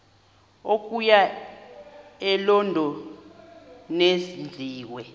okuya elondon enziwe